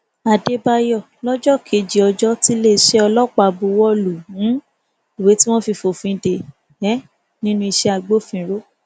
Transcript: àdébáyò lọjọ kejì ọjọ tiléeṣẹ ọlọpàá buwọ lu um ìwé tí wọn fi fòfin dè é um nínú iṣẹ agbófinró